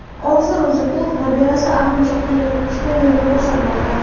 Orzi Ro‘ziqulov nabirasi arg‘imchoqdan yiqilib tushgan joyni ko‘rsatmoqda.